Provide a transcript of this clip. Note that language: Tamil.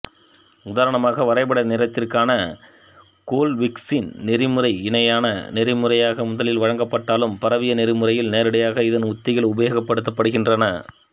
உதாரணமாக வரைப்பட நிறத்திற்கான கோல்விஸ்கின் நெறிமுறைஇணையான நெறிமுறையாக முதலில் வழங்கப்பட்டாலும் பரவிய நெறிமுறையில் நேரடியாக இதன் உத்திகள் உபயோகப்படுத்தப்படுகின்றன